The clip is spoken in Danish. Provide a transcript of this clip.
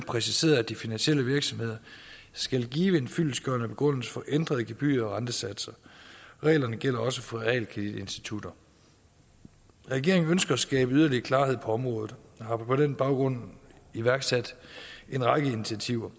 præciseret at de finansielle virksomheder skal give en fyldestgørende begrundelse for ændrede gebyrer og rentesatser reglerne gælder også for realkreditinstitutter regeringen ønsker at skabe yderligere klarhed på området jeg har på den baggrund iværksat en række initiativer